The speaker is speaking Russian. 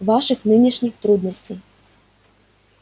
ваших нынешних трудностей